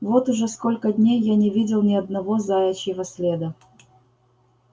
вот уже сколько дней я не видел ни одного заячьего следа